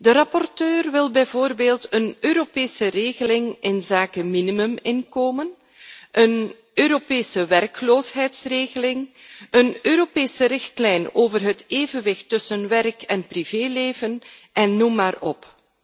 De rapporteur wil bijvoorbeeld een Europese regeling inzake minimuminkomen, een Europese werkloosheidregeling, een Europese richtlijn over het evenwicht tussen werk en privéleven, en noem maar op.